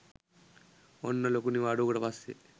ඔන්න ලොකු නිවාඩුවකට පස්සේ